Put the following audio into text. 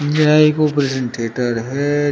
यह एक operation theatre है।